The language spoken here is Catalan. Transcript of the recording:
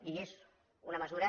i és una mesura